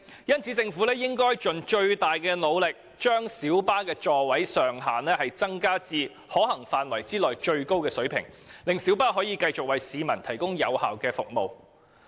因此，政府應盡最大努力，將小巴座位上限提高至可行範圍內的最高水平，令小巴可以繼續為市民提供有效的服務。